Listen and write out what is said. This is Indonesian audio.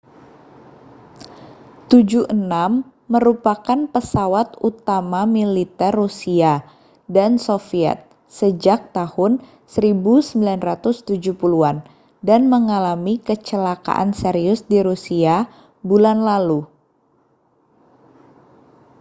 il-76 merupakan pesawat utama militer rusia dan soviet sejak tahun 1970-an dan mengalami kecelakaan serius di rusia bulan lalu